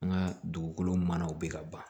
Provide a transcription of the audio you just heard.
An ka dugukolo manaw be ka ban